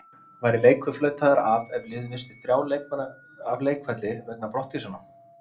Væri leikur flautaður af ef lið hefði misst þrjá leikmenn af leikvelli vegna brottvísana?